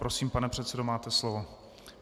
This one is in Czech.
Prosím, pane předsedo, máte slovo.